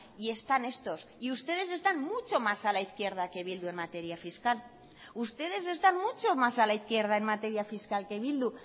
y están estos y ustedes están mucho más a la izquierda que bildu en materia fiscal ustedes están mucho mas a la izquierda en materia fiscal que bildu